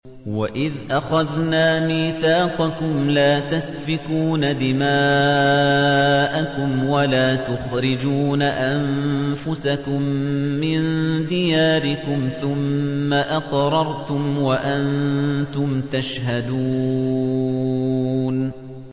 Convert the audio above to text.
وَإِذْ أَخَذْنَا مِيثَاقَكُمْ لَا تَسْفِكُونَ دِمَاءَكُمْ وَلَا تُخْرِجُونَ أَنفُسَكُم مِّن دِيَارِكُمْ ثُمَّ أَقْرَرْتُمْ وَأَنتُمْ تَشْهَدُونَ